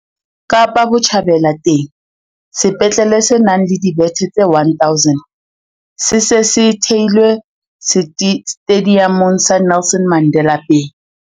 Kapa Botjhabela teng, sepetlele se nang le dibethe tse 1 000 se se se theilwe Setediamong sa Nelson Mandela Bay.